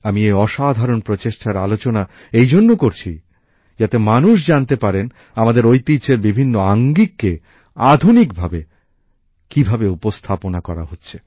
আমি এই অসাধারণ প্রচেষ্টার আলোচনা এই জন্য করছি যাতে মানুষ জানতে পারেন আমাদের ঐতিহ্যের বিভিন্ন আঙ্গিককে আধুনিকভাবে কীভাবে উপস্থাপনা করা হচ্ছে